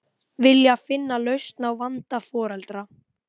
Stjörnurnar ferðast saman um skeið í lausþyrpingunni uns hún gliðnar í sundur.